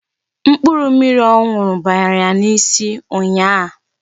Mkpụrụ mmiri ọ ṅụrụ bara ya n'isi ụnyịa.